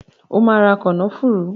O ma ra “kànnáfùrù".!